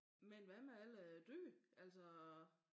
Men hvad med alle æ dyr altså